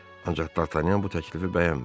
Ancaq Dartanyan bu təklifi bəyənmədi.